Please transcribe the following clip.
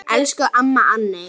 Elsku amma Anney.